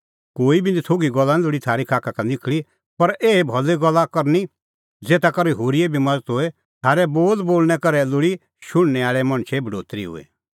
कोई बी नथोघी गल्ला निं लोल़ी थारी खाखा का निखल़ी पर एही भली गल्ला करनी ज़ेता करै होरीए बी मज़त होए थारै बोल बोल़णैं करै लोल़ी शुणनै आल़ै मणछे बढोतरी हूई